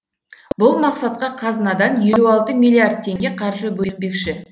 бұл мақсатқа қазынадан елу алты миллиард теңге қаржы бөлінбекші